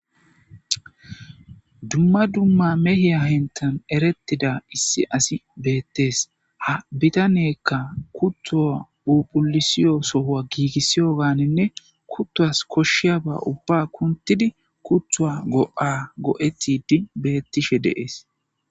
Dumma dumma mehiya henthan erettiza issi asi beettees. Ha bitaneykka kutto phuuphullisido soha giigisewganinne kuttos koshshiyaaba ubba kunthidi kutta go7aa go7ettidi beettishe de7ees.